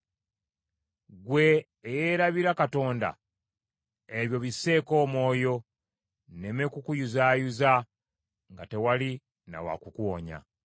“Ggwe eyeerabira Katonda, ebyo bisseeko omwoyo, nneme kukuyuzaayuza nga tewali na wa kukuwonya.